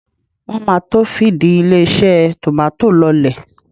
Wọ́n máa to fìdí ilé-iṣẹ́ tòmátò lọ́lẹ̀.